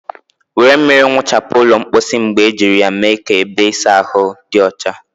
Were mmiri nwuchapu ụlọ mposi mgbe ejiri ya mee ka ebe ịsa ahụ dị ọcha ma dị ọcha.